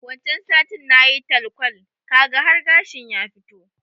Wancan satin nayi talkwal, kaga har gashin ya fito.